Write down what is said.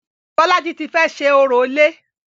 Bolaji ti fẹ́ ṣe orò ilé